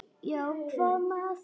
Já, hvað með þær?